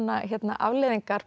afleiðingar